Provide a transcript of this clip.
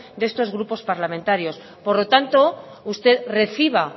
de estos grupos parlamentarios por lo tanto usted reciba